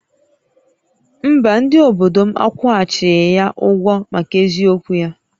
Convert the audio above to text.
Mba, ndị obodo m akwụghachighị ya ụgwọ maka eziokwu ya